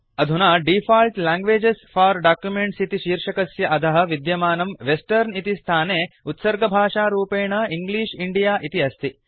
अदुना default languages for documents इति शीर्षकस्य अधः विद्यमानं वेस्टर्न इति स्थाने उत्सर्गभाषारूपेण इंग्लिश इण्डिया इति अस्ति